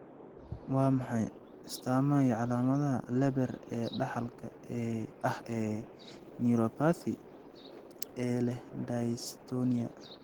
Waa maxay astamaha iyo calaamadaha Leber ee dhaxalka ah ee neuropathy ee leh dystonia?